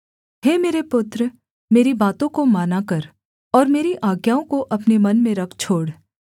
हे मेरे पुत्र मेरी बातों को माना कर और मेरी आज्ञाओं को अपने मन में रख छोड़